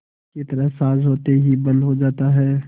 की तरह साँझ होते ही बंद हो जाता है